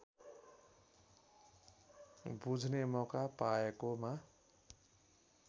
बुझ्ने मौका पाएकोमा